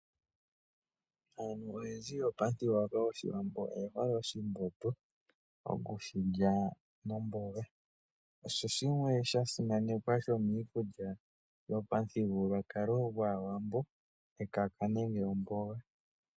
Aantu oyendji yopamuthigululwakalo goshiwambo oye hole oshimbombo, oku shilya nomboga, osho shimwe sha simanekwa sho miikulya oyindji yopamuthigululwakalo gwaawambo, ekaka nenge omboga.